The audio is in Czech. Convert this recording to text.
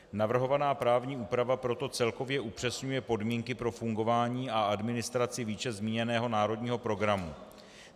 Navrhovaná právní úprava proto celkově upřesňuje podmínky pro fungování a administraci výše zmíněného národního programu.